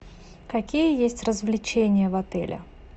какие есть развлечения в отеле